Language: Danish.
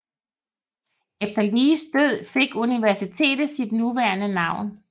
Efter Lees død fik universitetet sit nuværende navn